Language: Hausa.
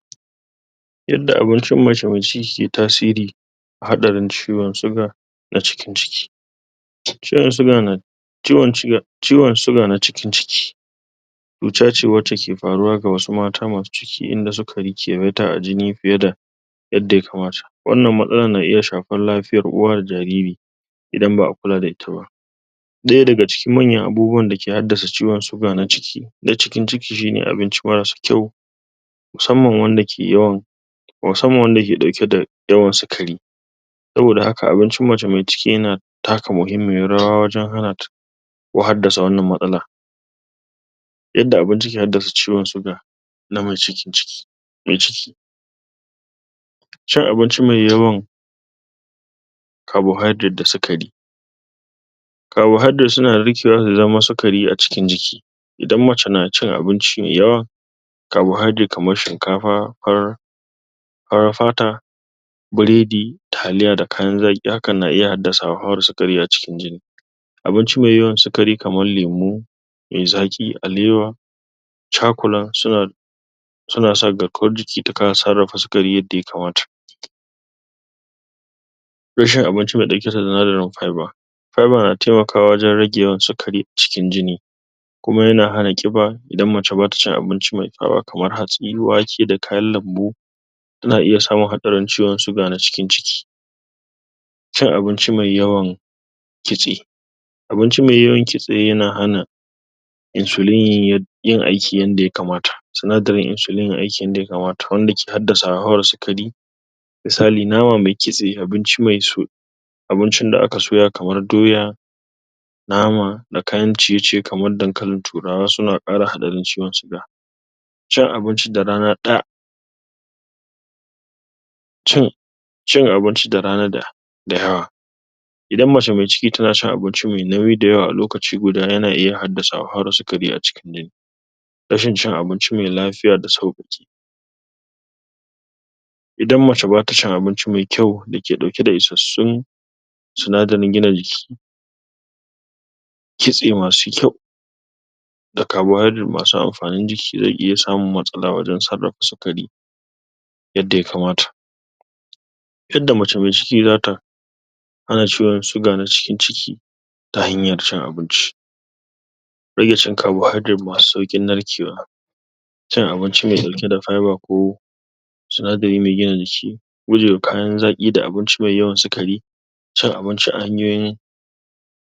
Inda abincin mai ke tatsiri hatsarin ciwon suga a cikin jiki ciwon suga na ciwon suga na cikin jiki cuta ce wace ke faruwa ga wasu mata masu ciki inda suka a jini fiye da inda ya kamata, wannan matsalar na iya shafar lafiyar uwa da jariri idan ba'a kula da ita ba ɗaya daga cikin manya abubuwan dake hadasa ciwon suga na cikin ciki shine abinci marasa kyau musamman wanda ke yawan musamman wanda yake ɗauke da yawan sukari saboda haka abincin mace mai ciki yana taka muhimmiyar rawa wajan hanata ko hadasa wannan matsalar inda abinci ke haddasa ciwon suga na mai cikin ciki mai ciki cin abinci mai yawan kabohidirate da sukari kabohidirate suna da rikewa da daman sukari a cikin jiki idan mace na cin abinci mai yawa kabohidirate kamar shinkafa, fata biredi, taliya da kayan zaƙi, hakan na iya haddasa sukari a cikin jini abinci mai yawan sukari kamar lemo mai zaƙi alewa cakulat, suna suna sa da ko jiki ta kasa sarrafa sukari yada ya kamata abinci wanda yake da sinadirin fiba Fiba na taimakawa wajan rage yawa sukari a cikin jini kuma yana hana ƙiba idan mace bata cin abinci mai kamar hatsi, wake da kayan lambu za'a iya samun hatsarin ciwon suga na cikin ciki cin abincin mai yawa kitse abinci mai yawan kitse yana hana Insulin yin aiki yanda ya kamata sinadirin Insulin yayi aiki inda ya kamata, wanda ke hadasa sukari misali nama mai kitse abinci mai abincin da aka soya kamar doya nama, da kayan ciye-ciye kamar dankalin turawa suna ƙara hatsarin ciwon suga cin abinci da rana ɗaya cin abinci da rana da da idan mace mai ciki tana cin abinci mai nauyi dayawa a lokaci guda yana iya haddsa wahalar sukari a cikin jini rashin cin abinci mai lafiya da idan mace bata cin abinci mai kyau dake ɗauke da issassun sinadirin gina jiki kitse masu kyau da kabohidirate masu amfanin jiki zai iya samun matsala wajan sarrafa sukari yada ya kamata tunda mace mai ciki zata cewar suga na cikin ciki ta hanyar cin abinci rage cin kabohidirate masu saukin narkewa cin abinci mai ɗauke da fiba ko sinadiri mai gina jiki gujewa kayan zaƙi da abinci mai yawan sukari cin abinci a hanyoyin